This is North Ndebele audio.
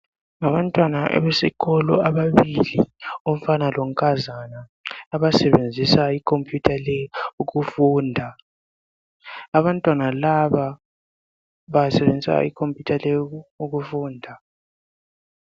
Ngabantwana abesikolo ababili, umfana lonkazana abasebenzisa computer le ukufunda. Abantwana laba basebenzisa icomputer le ukufunda.